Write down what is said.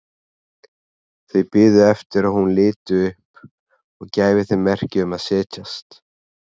Þau biðu eftir að hún liti upp og gæfi þeim merki um að setjast.